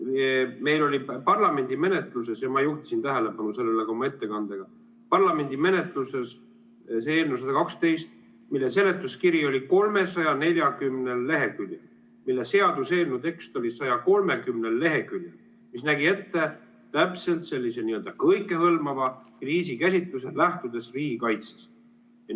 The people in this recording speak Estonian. Meil oli parlamendi menetluses – ma juhtisin tähelepanu sellele ka oma ettekandes – see eelnõu 112, mille seletuskiri oli 340 leheküljel ja seaduseelnõu tekst oli 130 leheküljel ja mis nägi ette täpselt sellise n‑ö kõikehõlmava kriisikäsitluse, lähtudes riigikaitsest.